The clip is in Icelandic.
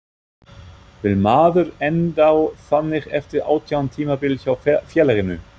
Vill maður enda þannig eftir átján tímabil hjá félaginu?